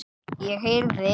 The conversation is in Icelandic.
Ég heyrði